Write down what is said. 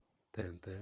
тнт